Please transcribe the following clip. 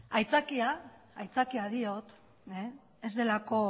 aitzakia diot ez delako